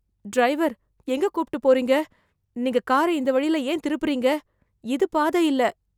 Driver எங்க கூப்பிட்டு போறீங்க? நீங்க காரை இந்த வழியில் ஏன் திருப்புறீங்க இது பாதை இல்ல.